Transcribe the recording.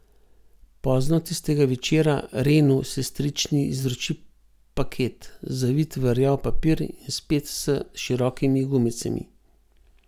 Pozno tistega večera Renu sestrični izroči paket, zavit v rjav papir in spet s širokimi gumicami.